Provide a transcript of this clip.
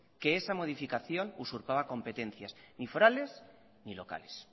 que esa modificación usurpaba competencias ni forales ni locales